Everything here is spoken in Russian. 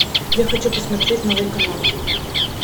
я хочу посмотреть новый канал